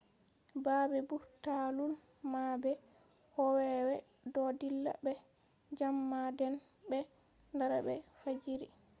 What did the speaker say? babbe burtalul mabbe kowowe do dilla be jam ma den be dara be fajiri